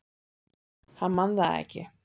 Hann man það ekki.